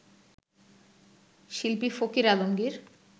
শিল্পী ফকির আলমগির